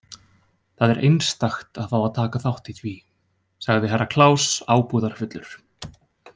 Það er einstakt að fá að taka þátt í því, sagði Herra Kláus ábúðarfullur.